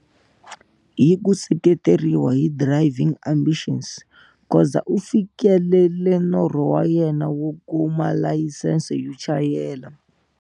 Hi ku seketeriwa hi Driving Ambitions, Khoza u fikelele norho wa yena wo kuma layisense yo chayela.